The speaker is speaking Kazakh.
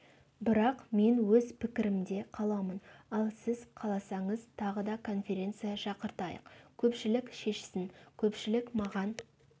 бірақ мен өз пікірімде қаламын ал сіз қаласаңыз тағы да конференция шақыртайық көпшілік шешсін көпшілік маған